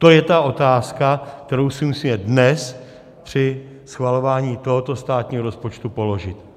To je ta otázka, kterou si musíme dnes při schvalování tohoto státního rozpočtu položit.